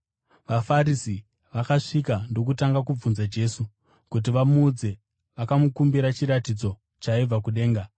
VaFarisi vakasvika ndokutanga kubvunza Jesu. Kuti vamuedze, vakamukumbira chiratidzo chaibva kudenga.